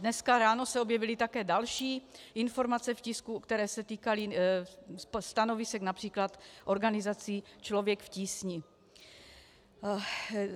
Dnes ráno se objevily také další informace v tisku, které se týkaly stanovisek například organizace Člověk v tísni.